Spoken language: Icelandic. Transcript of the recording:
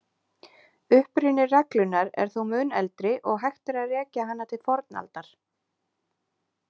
Uppruni reglunnar er þó mun eldri og hægt er að rekja hana til fornaldar.